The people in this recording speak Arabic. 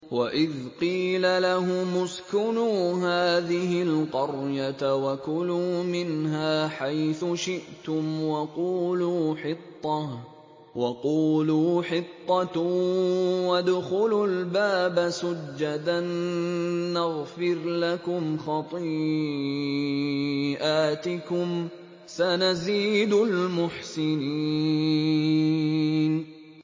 وَإِذْ قِيلَ لَهُمُ اسْكُنُوا هَٰذِهِ الْقَرْيَةَ وَكُلُوا مِنْهَا حَيْثُ شِئْتُمْ وَقُولُوا حِطَّةٌ وَادْخُلُوا الْبَابَ سُجَّدًا نَّغْفِرْ لَكُمْ خَطِيئَاتِكُمْ ۚ سَنَزِيدُ الْمُحْسِنِينَ